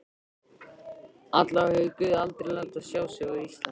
Allavega hefur guð aldrei látið sjá sig á Íslandi.